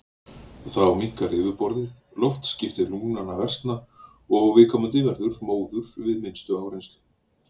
Þá minnkar yfirborðið, loftskipti lungnanna versna og viðkomandi verður móður við minnstu áreynslu.